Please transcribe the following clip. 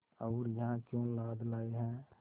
और यहाँ क्यों लाद लाए हैं